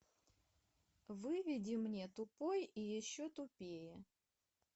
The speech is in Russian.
выведи мне тупой и еще тупее